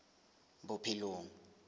bophelong